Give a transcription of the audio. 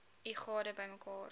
u gade bymekaar